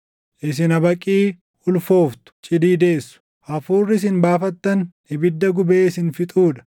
Isin habaqii ulfooftu; cidii deessu; hafuurri isin baafattan ibidda gubee isin fixuu dha.